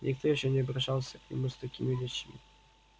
никто ещё не обращался к нему с такими речами